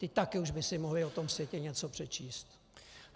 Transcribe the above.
Ti také už by si mohli o tom světě něco přečíst.